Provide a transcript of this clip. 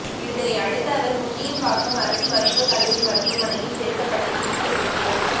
இதனை அடுத்து அவர் முண்டியம்பாக்கம் அரசு மருத்துவக் கல்லூரி மருத்துவமனையில் சேர்க்கப்பட்டு சிகிச்சை பெற்று